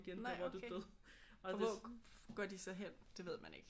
Nej okay. Og hvor går de så hen? Det ved man ikke?